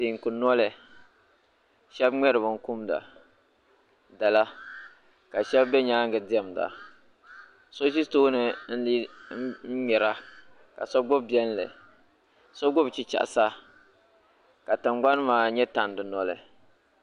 Teeku noli shɛbi ŋmɛri binkumda dala ka shɛba be nyaaŋa diɛmda so ʒi tooni m-ŋmɛra ka so gbubi biɛlli so gbubi chichɛɣisa ka tinŋgbani maa nyɛ tandi noli